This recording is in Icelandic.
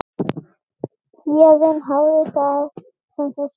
Héðinn hafði það sem þurfti.